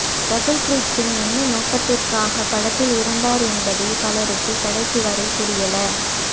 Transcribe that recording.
ரகுல் ப்ரீத் சிங்க் என்ன நோக்கத்திற்காக படத்தில் இருந்தார் என்பதே பலருக்கு கடைசி வரை புரியல